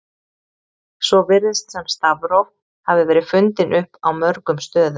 Svo virðist sem stafróf hafi verið fundin upp á mörgum stöðum.